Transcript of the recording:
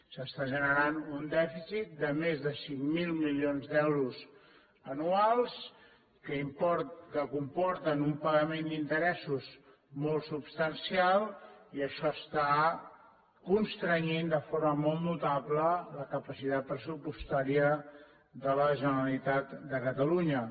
s’està generant un dèficit de més de cinc mil milions d’euros anuals que comporten un pagament d’interessos molt substancial i això està constrenyent de forma molt notable la capacitat pressupostària de la generalitat de catalunya